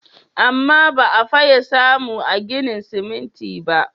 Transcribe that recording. Amma ba a fiye samu a ginin siminti ba.